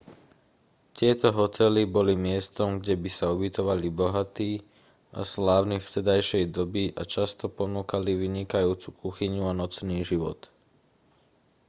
tieto hotely boli miestom kde by sa ubytovali bohatí a slávni vtedajšej doby a často ponúkali vynikajúcu kuchyňu a nočný život